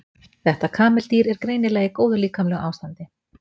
Þetta kameldýr er greinilega í góðu líkamlegu ástandi.